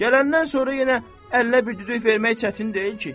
Gələndən sonra yenə əllə bir düdük vermək çətin deyil ki.